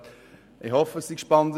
Ich hoffe, dass es spannend ist.